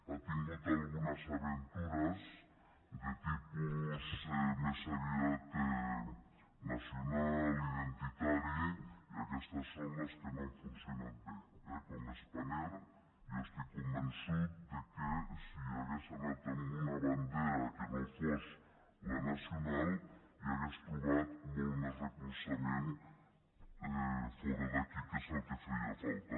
ha tingut algunes aventures de tipus més aviat nacional identitari i aquestes són les que no han funcionat bé eh com spanair jo estic convençut que si hagués anat amb una bandera que no fos la nacional hauria trobat molt més recolzament fora d’aquí que és el que feia falta